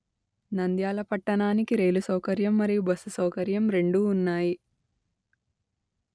నంద్యాల పట్టణానికి రైలు సౌకర్యం మరియు బస్సు సౌకర్యం రెండూ ఉన్నాయి